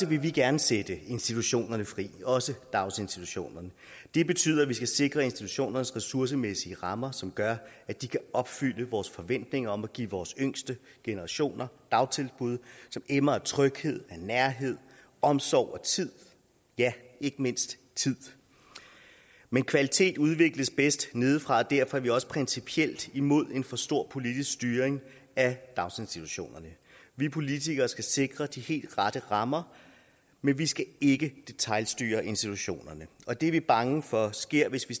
vi vil gerne sætte institutionerne fri også daginstitutionerne det betyder at vi skal sikre institutionernes ressourcemæssige rammer som gør at de kan opfylde vores forventninger om at give vores yngste generationer dagtilbud som emmer af tryghed af nærhed af omsorg og af tid ja ikke mindst tid men kvalitet udvikles bedst nedefra og derfor er vi også principielt imod en for stram politisk styring af daginstitutionerne vi politikere skal sikre de helt rette rammer men vi skal ikke detailstyre institutionerne og det er vi bange for sker hvis